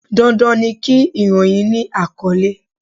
Dandan ni kí ìròyìn ni àkọ́lé.